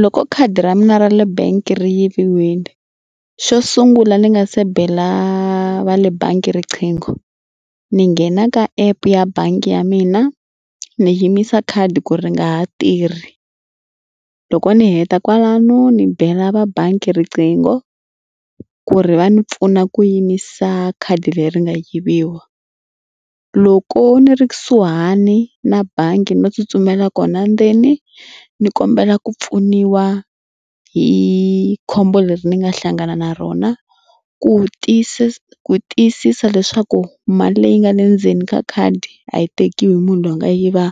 Loko khadi ra mina ra le bank ri yiviwile xo sungula ni nga se bela va le bangi riqingho ni nghena ka app ya bangi ya mina ni yimisa khadi ku ri nga ha tirhi. Loko ni heta kwalano ni bela va bangi riqingho ku ri va ni pfuna ku yimisa khadi leri nga yiviwa. Loko ni ri kusuhani na bangi no tsutsumela kona ndzeni ni kombela ku pfuniwa hi khombo leri ni nga hlangana na rona ku ku tiyisisa leswaku mali leyi nga le ndzeni ka khadi a yi tekiwi hi munhu loyi a nga yiva